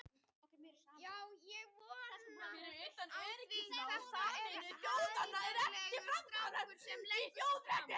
Já ég átti von á því, þetta er heiðarlegur strákur sem leggur sig fram.